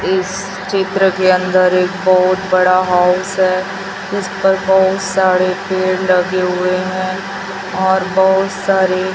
इस चित्र के अंदर एक बहोत बड़ा हाउस है जिस पर बहुत सारे पेड़ लगे हुए है और बहुत सारे --